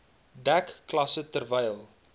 dek klasse terwyl